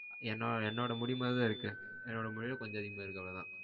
என்னோட என்னோட முடி மாதிரிதா இருக்கு. என்னோட முடியவிட கொஞ்சமா அதிகமா இருக்கு அவ்ளோதான்.